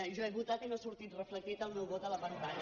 jo he votat i no ha sortit reflectit el meu vot a la pantalla